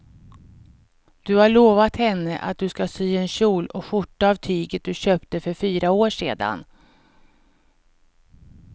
Du har lovat henne att du ska sy en kjol och skjorta av tyget du köpte för fyra år sedan.